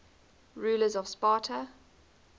rulers of sparta